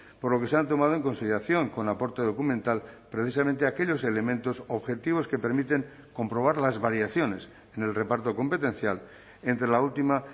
por lo que se han tomado en consideración con aporte documental precisamente aquellos elementos objetivos que permiten comprobar las variaciones en el reparto competencial entre la última